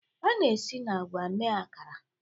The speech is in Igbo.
A na-esi na agwa mee Akara